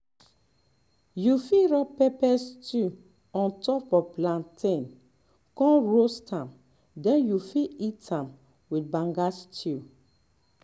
you fit rub pepper stew on top plantain con roast am den you fit eat am with banga stew